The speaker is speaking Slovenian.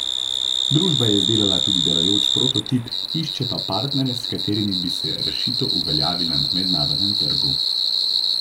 Družba je izdelala tudi delujoč prototip, išče pa partnerje, s katerimi bi se rešitev uveljavila na mednarodnem trgu.